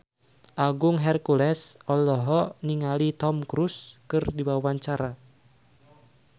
Agung Hercules olohok ningali Tom Cruise keur diwawancara